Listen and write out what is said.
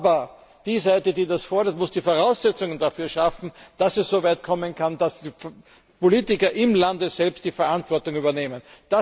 Aber die Seite, die das fordert, muss die Voraussetzungen dafür schaffen, dass es so weit kommen kann, dass die Politiker im Land selbst die Verantwortung übernehmen.